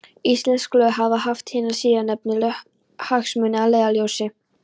Íslensk lög hafa haft hina síðarnefndu hagsmuni að leiðarljósi.